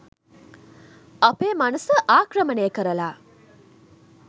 අපේ මනස ආක්‍රමණය කරලා